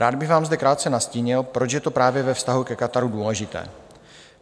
Rád bych vám zde krátce nastínil, proč je to právě ve vztahu ke Kataru důležité.